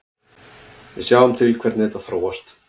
Við sjáum til hvernig þetta þróast.